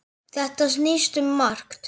Þetta snýst um margt.